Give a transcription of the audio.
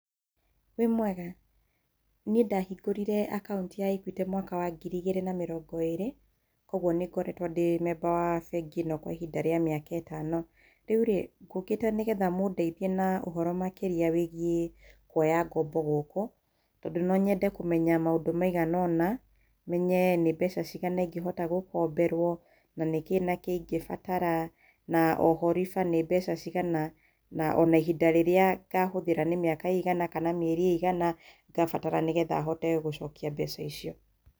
Wĩ mwega? Niĩ ndahingũrire akaunti ya Equity mwaka wa ngiri igĩrĩ na mĩrongo ĩrĩ, koguo nĩ ngoretwo ndĩ memba wa bengi ĩno kwa ihinda rĩa mĩaka ĩtano. Rĩu rĩĩ, ngũkĩte nĩgetha mũndaithie na ũhoro makĩria wĩgiĩ kũoya ngombo gũkũ, tondũ no nyende kũmenya maũndũ maingĩ ũna, menye nĩ mbeca cigana ingĩhota gũkomberwo, na nĩkĩĩ na kĩĩ ingĩbatara na oho rĩba nĩ mbeca cigana, na ona ihinda rĩrĩa ngahũthĩra nĩ mĩaka ĩigana kana mĩeri ĩigana ngabatara nĩgetha hote gũcokia mbeca icio.